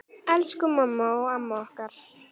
Elsku mamma og amma okkar.